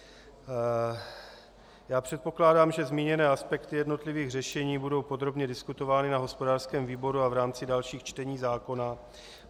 Já předpokládám, že zmíněné aspekty jednotlivých řešení budou podrobně diskutovány na hospodářském výboru a v rámci dalších čtení zákona.